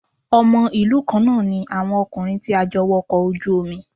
Ọmọ ìlú kan náà ní àwọn ọkùnrin tí a jọ wọkọ̀ ojú omi